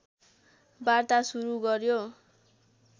वार्ता सुरु गर्यो